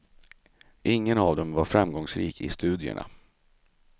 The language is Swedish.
Ingen av dem var framgångsrik i studierna.